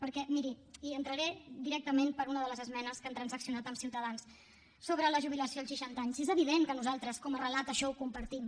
perquè miri i entraré directament per una de les esmenes que han transaccionat amb ciutadans sobre la jubilació als seixanta anys és evident que nosaltres com a relat això ho compartim